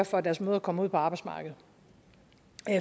for at deres mødre kom ud på arbejdsmarkedet